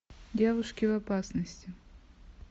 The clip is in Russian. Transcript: девушки в опасности